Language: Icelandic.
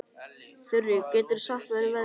Þurí, hvað geturðu sagt mér um veðrið?